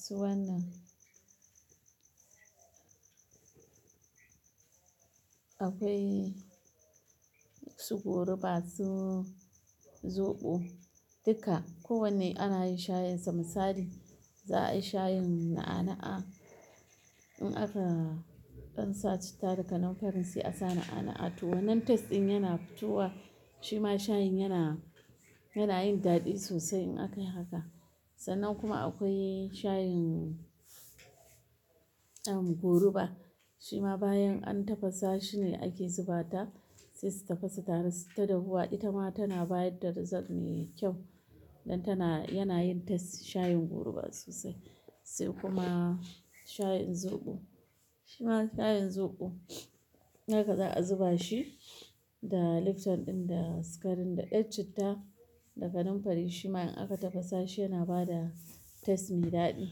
su wannan, akwai su goruba, su zoɓo, duka. Ko wanne ana yin shayin sa misali, za a yi shayin na'a-na'a. In aka ɗan sa citta da kanumfarin sai a sa na'a-na'a to. Wannan taste ɗin yana fitowa shi ma shayin yana, yana yin daɗi sosai in aka yi haka. Sannan kuma akwai shayin um, goruba. Shi ma bayan an tafasa shine ake zuba ta, sai su tafasa tare, su tadahuwa. Ita ma tana bayar da result me kyau don tana, yana yin taste shayin goruba sosai. Sai kuma shayin zoɓo. Shi ma shayin zoɓo, haka za a zuba shi da lifton ɗin, da sikarin, da ɗan citta, da kanumfari. Shi ma in aka tafasa shi yana bada taste mai daɗi.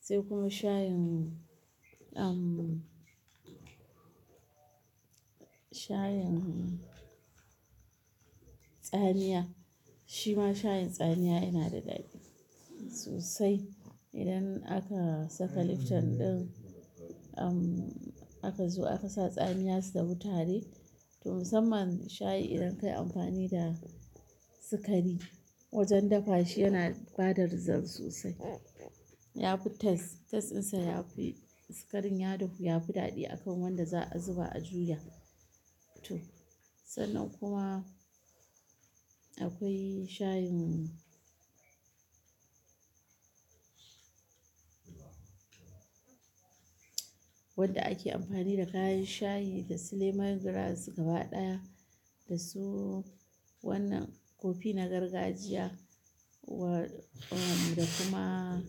Sai kuma shayin um, shayin tsamiya. Shi ma shayin tsamiya yana da daɗi sosai. Idan aka saka lifton ɗin um, aka zo aka sa tsamiya su da huta re. To, musamman shayi idan ka yi amfani da sikari wajen dafa shi yana bada result sosai. Yafi taste, tasteɗinsa yafi-- sikarin ya dahu yafi daɗi akan wanda za a zuba a juya to. Sannan kuma akwai shayin wanda ake amfani da kayan shayi dasu lemongrass gaba ɗaya da su wannan kofi na gargajiya wa-- um, da kuma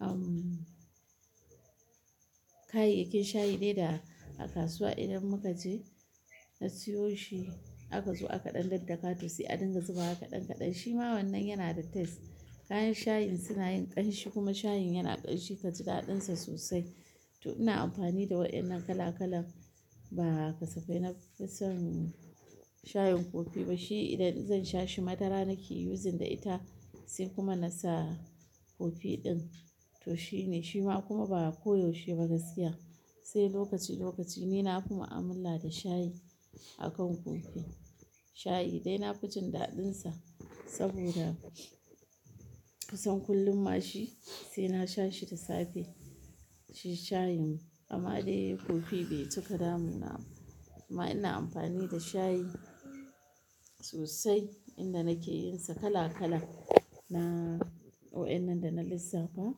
um, kayayyakin shayi ne da a kasuwa idan muka je na siyo shi, aka zo aka ɗan daddakato sai adinga zuba waka ɗan kaɗan. Shi ma wannan yana da taste. Kayan shayin suna yin ƙanshi kuma shayin yana ƙanshi kaji daɗinsa sosai. To, ina amfani da waɗannan kala-kalan ba kasafai na fi son shayin kofi ba. Shi idan zan sha shi madara nake using da ita sai kuma na sa kofi ɗin. To shine, shi ma kuma ba koyaushe ba gaskiya, sai lokaci lokaci. Ni na fi ma'amala da shayi akan kofi. Shayi dai na fi jin daɗinsa saboda kusan kullum mashi sai na sha shi da safe. Shi shayin amma dai kofi bai cika damu na. Kuma ina amfani da shayi sosai inda nake yin sa kala-kala. Na-- waɗannan da na lissafa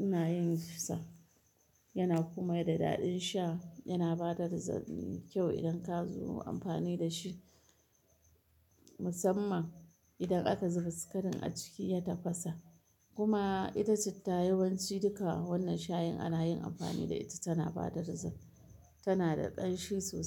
ina yin shi sa. Yana kuma da daɗin sha, yana bada result mekyau idan ka zo amfani da shi. Musamman idan aka zuba sikarin a ciki ya tafasa. Kuma ita citta yawanci duka wannan shayin ana yin amfani da ita tana bada result, tana da ƙanshi sosai.